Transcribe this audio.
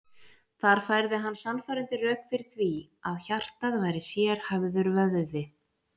Þar færði hann sannfærandi rök fyrir því að hjartað væri sérhæfður vöðvi.